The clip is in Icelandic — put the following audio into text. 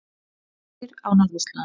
Spendýr á norðurslóðum.